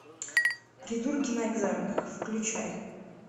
придурки на экзаменах включай